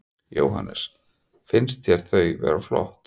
Jóhannes: Finnst þér þau vera flott?